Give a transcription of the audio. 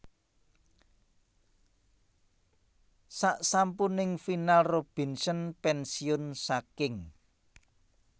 Sasampuning final Robinson pénsiun saking